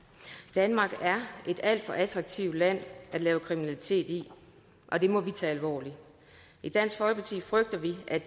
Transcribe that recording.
danmark er et alt for attraktivt land at lave kriminalitet i og det må vi tage alvorligt i dansk folkeparti frygter vi at